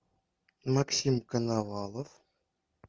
максим коновалов